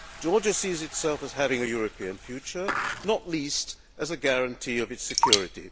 Georgia sees itself as having a European future, not least as a guarantee of its security.